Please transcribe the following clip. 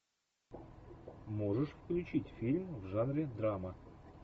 можешь включить фильм в жанре драма